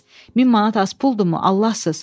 1000 manat az puldumu, Allahsız?